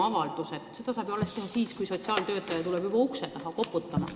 Avalduse saab ju teha alles pärast seda, kui sotsiaaltöötaja on tulnud ukse taha koputama.